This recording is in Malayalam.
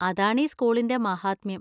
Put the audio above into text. അതാണീ സ്കൂളിന്‍റെ മാഹാത്മ്യം.